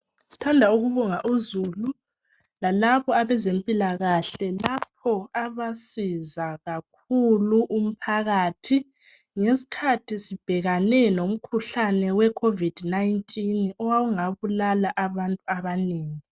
Sithanda ukubonga uzulu lalabo abezempilakahle. Lapho abasiza kakhulu umphakathi, ngesikhathi sibhekane lomkhuhlane we COVID 19 owawungabulala abantu abanengi .